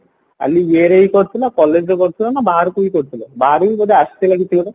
ଖାଲି କରିଥିଲା ନା collegeରେ କରିଥିଲା ନାଁ ବାହାରକୁ ବି କରିଥିଲା ବାହାରକୁ ବି ବୋଧେ ଆସିଥିଲା କିଛି ଗୋଟେ